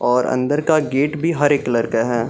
और अंदर का गेट भी हरे कलर का है।